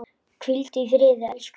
Hvíldu í friði elsku Stjáni.